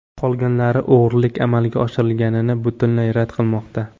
Qolganlari o‘g‘rilik amalga oshirilganini butunlay rad qilmoqda.